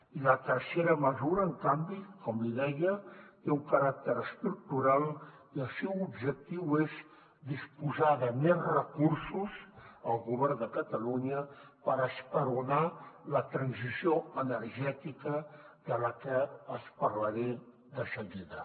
i la tercera mesura en canvi com li deia té un caràcter estructural i el seu objectiu és disposar de més recursos al govern de catalunya per esperonar la transició energètica de la que els parlaré de seguida